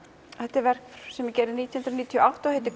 þetta er verk sem ég gerði nítján hundruð níutíu og átta og heitir